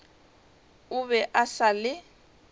o be a sa le